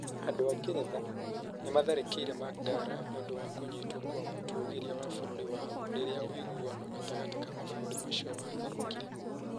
Andũ a Ngeretha nĩ maatharĩkĩire Maqdala. Nĩ ũndũ wa kũnyiitwo kwa mũtũgĩria wa bũrũri wao. Rĩrĩa ũiguano gatagatĩ ka mabũrũri macio watharũkire.